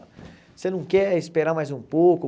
Você não quer esperar mais um pouco?